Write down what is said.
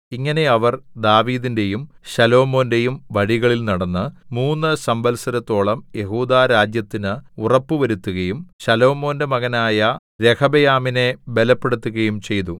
ഇങ്ങനെ അവർ ദാവീദിന്റെയും ശലോമോന്റെയും വഴികളിൽ നടന്ന് മൂന്നു സംവത്സരത്തോളം യെഹൂദാരാജ്യത്തിന് ഉറപ്പുവരുത്തുകയും ശലോമോന്റെ മകനായ രെഹബെയാമിനെ ബലപ്പെടുത്തുകയും ചെയ്തു